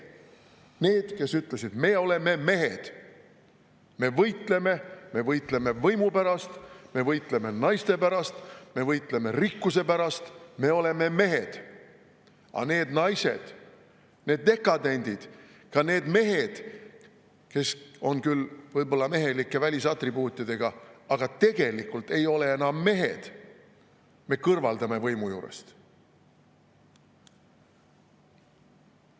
Need, kes ütlesid, et me oleme mehed, me võitleme, me võitleme võimu pärast, me võitleme naiste pärast, me võitleme rikkuse pärast, me oleme mehed, aga need naised, need dekadendid, ka need mehed, kes on küll võib-olla mehelike välisatribuutidega, aga tegelikult ei ole enam mehed, me kõrvaldame võimu juurest.